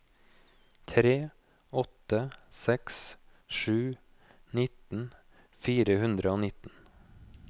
tre åtte seks sju nitten fire hundre og nitten